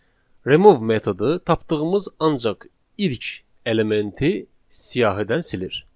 remove metodu tapdığımız ancaq ilk elementi siyahıdan silir.